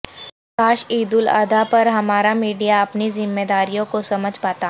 کاش عید الاضحی پر ہمارا میڈیا اپنی ذمہ داریوں کو سمجھ پاتا